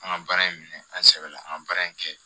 An ka baara in minɛ an sɛbɛ la an ka baara in kɛ